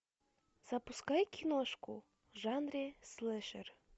запускай киношку в жанре слэшер